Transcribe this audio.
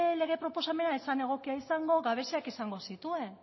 lege proposamena ez zen egokia izango gabeziak izango zituen